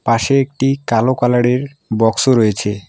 পাশে একটি কালো কালার -এর বক্স ও রয়েছে।